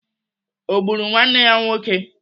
Ọ gburu nwanne ya nwoke?